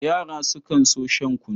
Yara sukan so shan kunu.